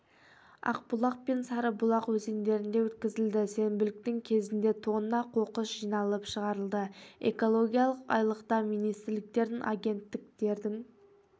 ақбұлақ пен сарыбұлақ өзендерінде өткізілді сенбіліктің кезінде тонна қоқыс жиналып шығарылды экологиялық айлықта министрліктердің агенттіктердің